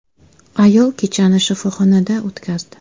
Ayol kechani shifoxonada o‘tkazdi.